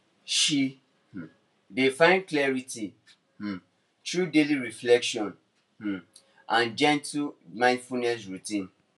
she um dey find clarity um through daily reflection um and gentle mindfulness routine